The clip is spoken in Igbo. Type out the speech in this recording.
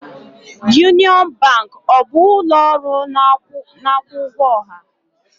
Union Bank ọ bụ ụlọ ọrụ na-akwụ ụgwọ ọha?